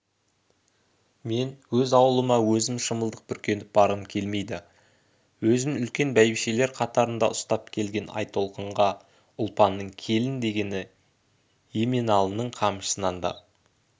мен өз ауылыма өзім шымылдық бүркеніп барғым келмейді өзін үлкен бәйбішелер қатарында ұстап келген айтолқынға ұлпанның келін дегені еменалының қамшысынан да